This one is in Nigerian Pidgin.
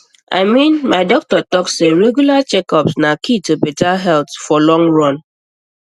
i mean my doctor talk say regular checkup na key to better health for long run